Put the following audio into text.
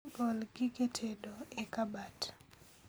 Gol gige tedo e kabat